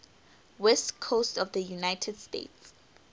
west coast of the united states